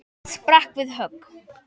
sem sprakk við högg.